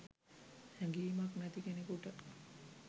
හැඟීමක් නැති කෙනෙකුට